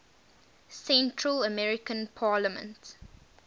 central american parliament